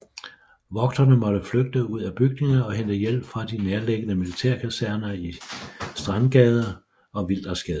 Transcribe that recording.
Vogterne måtte flygte ud af bygningerne og hente hjælp fra de nærliggende militærkaserner i Strandgade og Wildersgade